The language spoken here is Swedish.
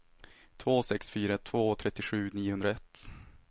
två sex fyra två trettiosju niohundraett